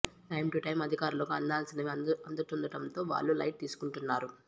time to time అధికారులకు అందాల్సినవి అందుతుండటంతో వాళ్లూ లైట్ తీసుకుంటున్నారు